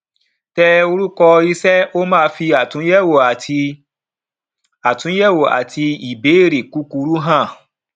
tẹ orúkọ iṣẹ ó máa fi àtúnyẹwò àti àtúnyẹwò àti ìbéèrè kúkúrú hàn